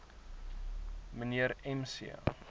mnr m c